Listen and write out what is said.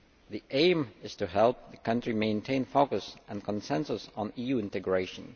The aim is to help the country maintain focus and consensus on EU integration.